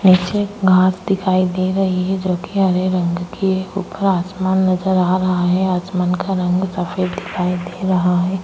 नीचे घास दिखाई दे रही है जो की हरे रंग की है ऊपर आसमान नजर आ रहा है आसमान का रंग सफ़ेद दिखाई दे रहा है।